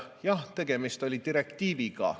Jah, tegemist oli direktiiviga.